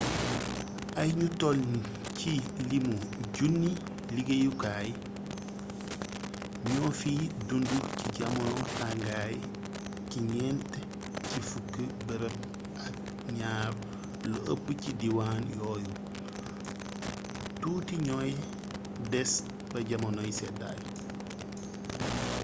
ay ñu toll ci limu junni liggéeykat ñoo fiy dund ci jamono tàngaay ci ñent ci fukki bërëb ak ñaar lu ëpp ci diwaan yooyu tuuti ñooy des ba jamonoy seddaay